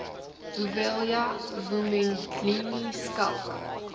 vuyelwa vumendlini schalk